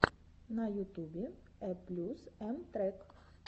на ютубе э плюс эм трек